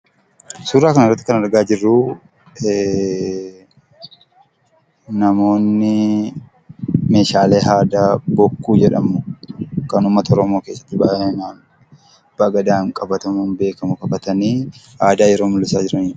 Suura kanarratti kan argaa jirruu namoonni meeshaalee aadaa bokkuu jedhamu kan uummata oromoo keessatti bal'inaan abbaa gadaadhaan qabatamuun beekamu qabatanii aadaa yeroo mul'isaa jiraniidha.